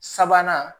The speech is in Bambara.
Sabanan